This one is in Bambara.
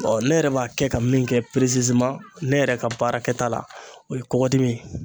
ne yɛrɛ b'a kɛ ka min kɛ ne yɛrɛ ka baarakɛta la o ye kɔkɔdimi ye.